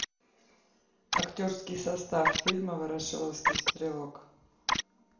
актерский состав фильма ворошиловский стрелок